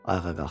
Ayağa qalxdı.